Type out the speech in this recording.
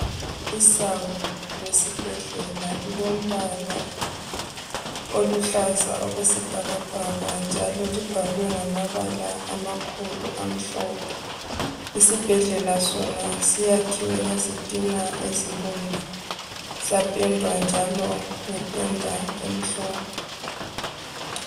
Isango lesibhedlela lilombala oluhlaza okwesibhakabhaka, njalo libhalwe ngamabala amakhulu amhlophe. Isibhedlela sona sakhiwe ngezitina ezibomvu. Sapendwa njalo ngependa emhlophe.